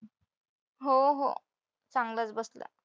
हो हो चांगलाच बसलाय.